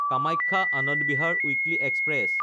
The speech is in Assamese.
Kamakhya Anand Vihar weekly express